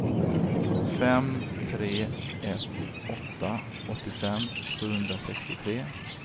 fem tre ett åtta åttiofem sjuhundrasextiotre